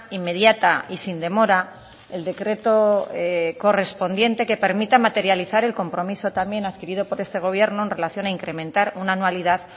inmediata y sin demora el decreto correspondiente que permita materializar el compromiso también adquirido por este gobierno en relación a incrementar una anualidad